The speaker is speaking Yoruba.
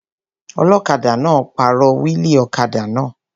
Ọlọ́kadà náà pàrọ̀ wíìlì ọ̀kadà náà